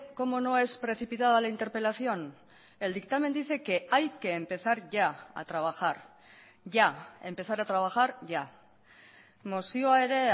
como no es precipitada la interpelación el dictamen dice que hay que empezar ya a trabajar ya empezar a trabajar ya mozioa ere